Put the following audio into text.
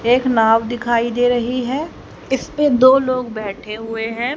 ए क नाव दिखाई दे रही है इस पे दो लोग बैठे हुए हैं।